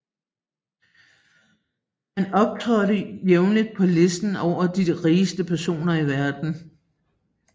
Han optrådte jævnligt på lister over de rigeste personer i verden